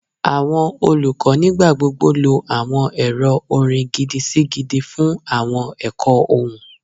Awọn olukọ nigbagbogbo lo awọn ẹrọ orin gidi-si-gidi fun awọn ẹkọ ohun